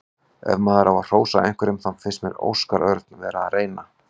Ef maður á að hrósa einhverjum þá fannst mér Óskar Örn vera að reyna.